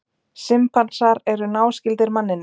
Simpansar eru náskyldir manninum.